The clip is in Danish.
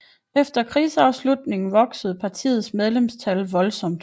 Efter krigsafslutningen voksede partiets medlemstal voldsomt